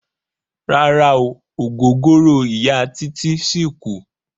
Rárá o, ògógóró Ìya Títí ṣì kù.